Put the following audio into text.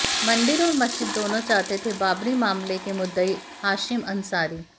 मंदिर और मस्जिद दोनों चाहते थे बाबरी मामले के मुद्दई हाशिम अंसारी